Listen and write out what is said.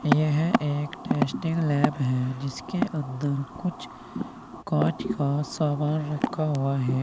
यह एक testing lab है जिसके अंदर कुछ कांच का सामान रखा हुआ है।